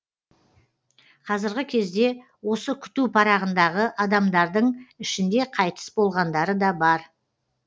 қазіргі кезде осы күту парағындағы адамдардың ішінде қайтыс болғандары да бар